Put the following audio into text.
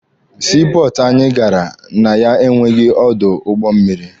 Sii pọọtụ anyị gara na ya enweghị ọdụ ụgbọ mmịrị.